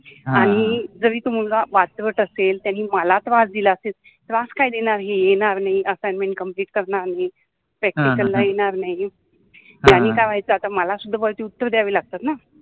आणी जरि तो मुलगा वातरट असेल त्यानि मला त्रास दिला असेल, त्रास काय दिला येणार नाहि, असाइनमेंट करनार नाहि, प्रॅक्टिकल ला येणार नाहि त्यानि का व्हायचा मला सुद्धा वरति उत्तर द्याव लागत न